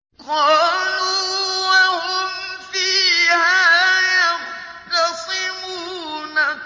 قَالُوا وَهُمْ فِيهَا يَخْتَصِمُونَ